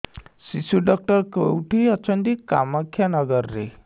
ଶିଶୁ ଡକ୍ଟର କୋଉଠି ଅଛନ୍ତି କାମାକ୍ଷାନଗରରେ